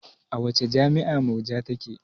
A wace jami'a Murja take?